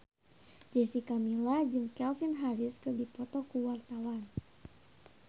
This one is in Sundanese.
Jessica Milla jeung Calvin Harris keur dipoto ku wartawan